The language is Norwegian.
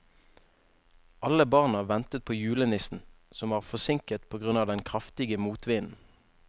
Alle barna ventet på julenissen, som var forsinket på grunn av den kraftige motvinden.